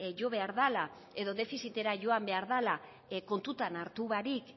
jo behar dela edo defizitera joan behar dela kontuan hartu barik